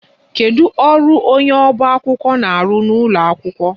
Kedu ọrụ onye ọba akwụkwọ na-arụ n'ụlọ akwụkwọ?